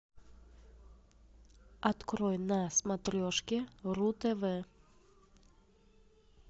открой на смотрешке ру тв